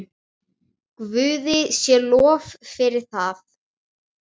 Guði sé lof fyrir það.